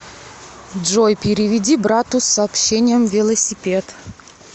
джой переведи брату с сообщением велосипед